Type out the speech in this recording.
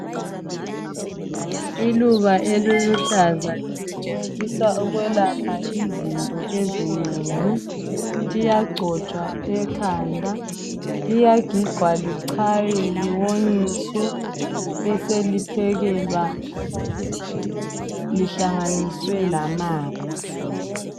Iluba eliluhlaza lisetshenziswa ukwelapha izinto ezinengi. Liyagigwa liwonyiswe. Liyagigwa lichaywe liyonyiswe beseliphekelwa lihlanganiswe lamanzi.